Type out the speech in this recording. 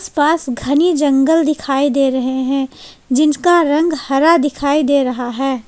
आस पास घनी जंगल दिखाई दे रहे हैं जिनका रंग हरा दिखाई दे रहा है।